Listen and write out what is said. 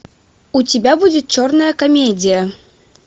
у тебя будет черная комедия